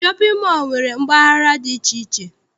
Shọpịn mọọ nwere mpaghara dị iche iche.